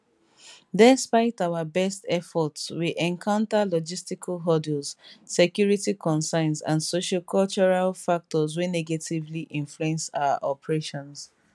despite our best efforts we encounter logistical hurdles security concerns and sociocultural factors wey negatively influence our operations